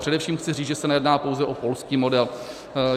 Především chci říci, že se nejedná pouze o polský model.